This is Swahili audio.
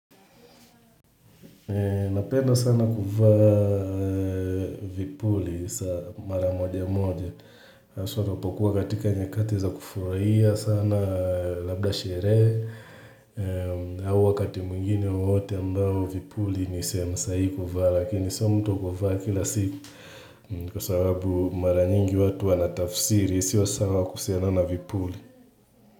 Napenda sana kuvaa vipuli mara moja moja hasa ninapokuwa katika nyakati za kufuraia sana labda sherehe au wakati mungine wote ambao vipuli nisehemu sahihi kuvaa lakini sio mtu wa kuvaa kila siku Kwa sababu mara nyingi watu wana tafsiri sio sawa kusiana na vipuli.